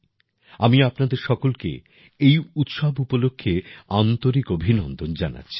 আমি আপনাদের সকলকে এই উৎসব উপলক্ষ্যে আন্তরিক অভিনন্দন জানাচ্ছি